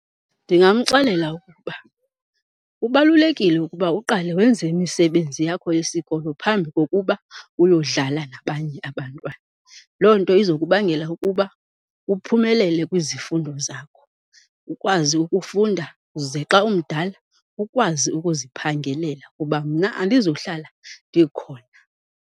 Ndingamxelela ukuba kubalulekile ukuba uqale wenze imisebenzi yakho yesikolo phambi kokuba uyodlala nabanye abantwana. Loo nto izokubangela ukuba uphumelele kwizifundo zakho, ukwazi ukufunda ze xa umdala ukwazi ukuziphangelela kuba mna andizuhlala ndikhona.